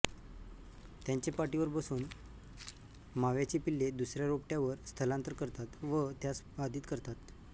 त्यांचे पाठीवर बसून माव्याची पिल्ले दुसऱ्या रोपट्यावर स्थलांतर करतात व त्यास बाधित करतात